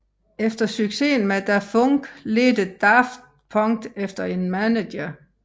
Efter succesen med Da Funk ledte Daft Punk efter en manager